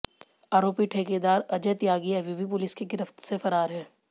आरोपी ठेकेदार अजय त्यागी अभी भी पुलिस की गिरफ्त से फरार है